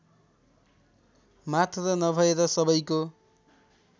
मात्र नभएर सबैको